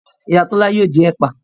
Iya Tola ao din epa